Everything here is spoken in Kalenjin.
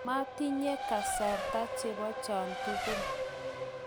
matinye kasarta chebo cho tugul